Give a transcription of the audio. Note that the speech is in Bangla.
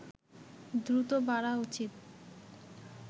দ্রুত বাড়া উচিত